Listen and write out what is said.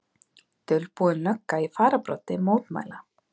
Dulbúin lögga í fararbroddi mótmæla